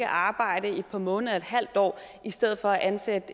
arbejde i et par måneder et halvt år i stedet for at ansætte